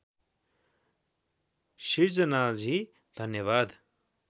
सिर्जनाजी धन्यवाद